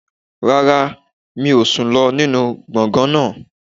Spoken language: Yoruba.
Rárá, mi ò sùn lọ nínú gbọ̀ngàn náà